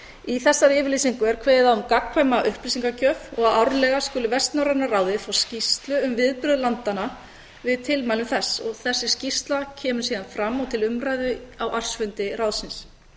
í þessari yfirlýsingu er kveðið á um gagnkvæma upplýsingagjöf og að árlega skuli vestnorræna ráðið fá skýrslu um viðbrögð landanna við tilmælum þess og þessi skýrsla kemur síðan fram og til umræðu á ársfundi ráðsins